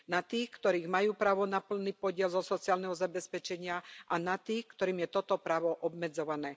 Na tých, ktorí majú právo na plný podiel zo sociálneho zabezpečenia, a na tých, ktorým je toto právo obmedzované.